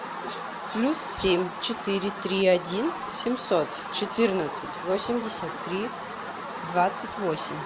плюс семь четыре три один семьсот четырнадцать восемьдесят три двадцать восемь